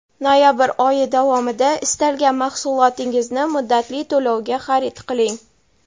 Noyabr oyi davomida istalgan mahsulotingizni muddatli to‘lovga xarid qiling.